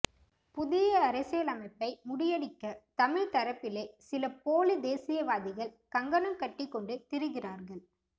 புதிய அரசியலமைப்பை முடிகியடிக்க தமிழ் தரப்பிலே சில போலித் தேசியவாதிகள் கங்கணம் கட்டிக் கொண்டு திரிகிறார்கள்